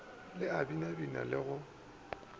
le a binabina le go